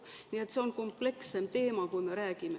Nii et see on komplekssem teema, kui me räägime.